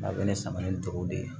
A bɛ ne sama ni duuru de ye